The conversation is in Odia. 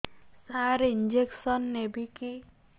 ସାର ଇଂଜେକସନ ନେବିକି